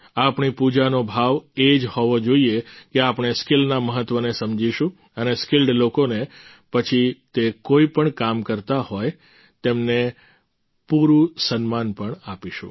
આપણી પૂજાનો ભાવ એ જ હોવો જોઈએ કે આપણે સ્કિલના મહત્વને સમજીશું અને સ્કિલ્ડ લોકોને પછી તે કોઈપણ કામ કરતા હોય તેમને પૂરું સન્માન પણ આપીશું